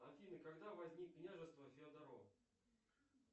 афина когда возник княжество феодоро